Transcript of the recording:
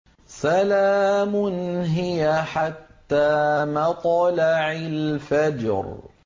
سَلَامٌ هِيَ حَتَّىٰ مَطْلَعِ الْفَجْرِ